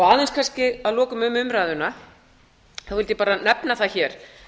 aðeins kannski að lokum um umræðuna vildi ég bara nefna hér